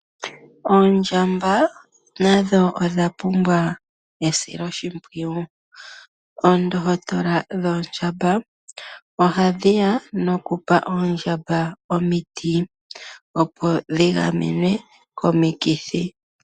Oondjamba nadho odha pumbwa esilo shipwiyu. Oondohotola dhoondjamba ohadhi ya nokupa oondjamba omiti opo dhi gamenwe komikithi.